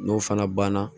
N'o fana banna